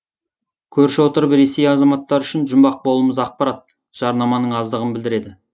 көрші отырып ресей азаматтары үшін жұмбақ болуымыз ақпарат жарнаманың аздығын білдіреді